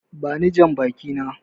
Bani jambaki na!